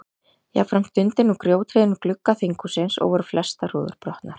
Jafnframt dundi nú grjóthríð innum glugga þinghússins og voru flestar rúður brotnar.